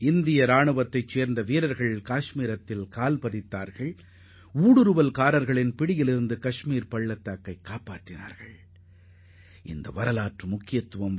இந்திய படைகள் இந்நாளில்தான் காஷ்மீரில் காலடி எடுத்துவைத்து அந்தப் பள்ளத்தாக்கை ஆக்கிரமிப்பின் பிடியில் சிக்காமல் காப்பாற்றினர்